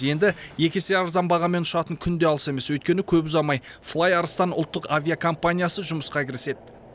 енді екі есе арзан бағамен ұшатын күн де алыс емес өйткені көп ұзамай флай арыстан ұлттық авиакомпаниясы жұмысқа кіріседі